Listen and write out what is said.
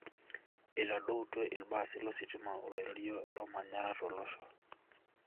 itadoutuo ilbasi lositima oloirerio lomanyara tolosho.